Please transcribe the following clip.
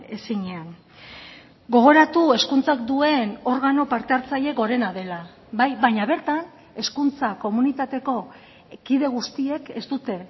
ezinean gogoratu hezkuntzak duen organo parte hartzaile gorena dela bai baina bertan hezkuntza komunitateko kide guztiek ez dute